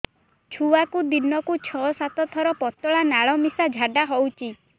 ଛୁଆକୁ ଦିନକୁ ଛଅ ସାତ ଥର ପତଳା ନାଳ ମିଶା ଝାଡ଼ା ହଉଚି